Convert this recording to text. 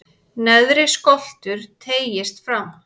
neðri skoltur teygist fram